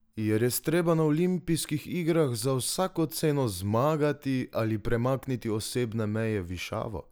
Je res treba na olimpijskih igrah za vsako ceno zmagati ali premakniti osebne meje v višavo?